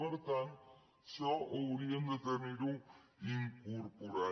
per tant això haurien de tenir ho incorporat